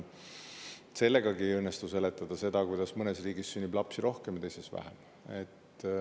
Sellegagi ei õnnestu seletada seda, kuidas mõnes riigis sünnib lapsi rohkem, teises vähem.